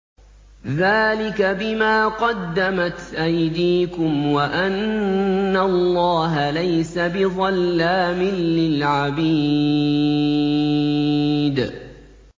ذَٰلِكَ بِمَا قَدَّمَتْ أَيْدِيكُمْ وَأَنَّ اللَّهَ لَيْسَ بِظَلَّامٍ لِّلْعَبِيدِ